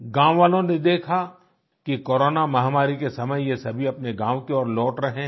गांव वालों ने देखा कि कोरोना महामारी के समय ये सभी अपने गांव की ओर लौट रहे हैं